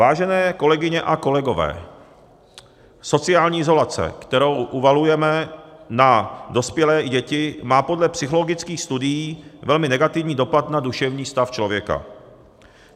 Vážené kolegyně a kolegové, sociální izolace, kterou uvalujeme na dospělé i děti, má podle psychologických studií velmi negativní dopad na duševní stav člověka.